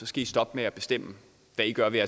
skal stoppe med at bestemme hvad i gør ved